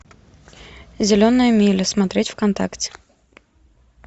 зеленая миля смотреть вконтакте